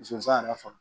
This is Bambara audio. Musoya yɛrɛ fana